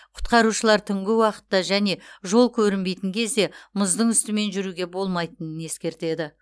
құтқарушылар түнгі уақытта және жол көрінбейтін кезде мұздың үстімен жүруге болмайтынын ескертеді